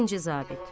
Birinci zabit.